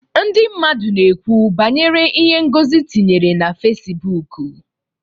Ndị mmadụ na-ekwu banyere ihe Ngozi tinyere na Fesibuuku.